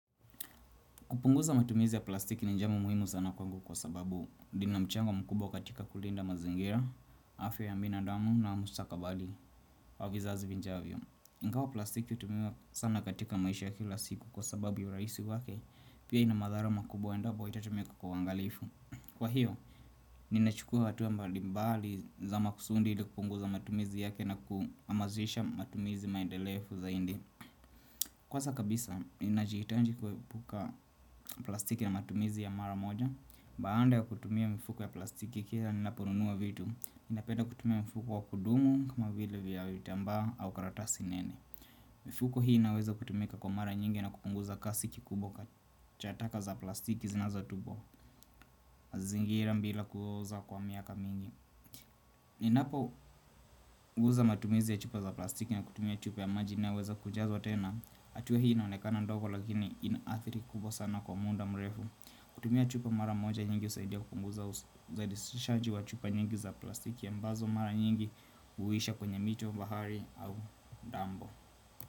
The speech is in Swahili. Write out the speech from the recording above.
Kupunguza matumizi ya plastiki ni njia mumuhimu sana kwangu kwa sababu lina mchango mkubwa katika kulinda mazingira, afya ya binadamu na mustakabali wa vizazi vijavyo. Ingawa plastiki hutumiwa sana katika maisha kila siku kwa sababu ya urahisi wake pia ina madhara makubwa endabo haitatumika kwa uangalifu. Kwa hiyo, ninachukua hatua ya mbalimbali za makusudi ili kupunguza matumizi yake na kuhamasisha matumizi maendelefu zaidi. Kwanza kabisa, inahitaji kuepuka plastiki na matumizi ya mara moja baada ya kutumia mifuko ya plastiki kila ninaponunua vitu. Ninapeda kutumia mifuko ya kudumu kama vile ya vitambaa au karatasi nini mifuko hii inaweza kutumika kwa mara nyingi na kupunguza kasi kubwa za taka za plastiki zinazotupwa mazingira bila kuoza kwa miaka mingi Ninapopuza matumizi ya chupa za plastiki na kutumia chupa ya maji inaweza kujazwa tena atua hii inaonekana ndogo lakini inaathiri kubwa sana kwa muda mrefu kutumia chupa mara moja nyingi uzaidia kukunguza uzalishaji wa chupa nyingi za plastiki ambazo mara nyingi Uwisha kwenye mito, bahari au dampo.